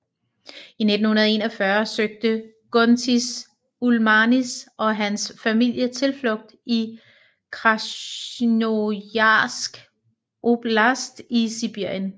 I 1941 søgte Guntis Ulmanis og hans familie tilflugt i Krasnojarsk Oblast i Sibirien